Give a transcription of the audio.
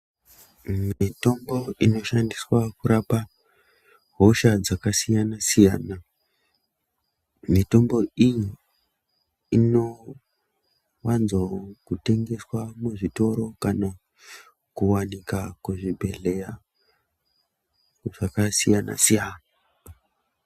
Mitombo inoshandiswa kurapa hosha dzakasiyana siyana mitombo iyi inowanzo tengeswa muzvitoro kana kuwanikwa kuzvibhehleya zvakasiyana siyana.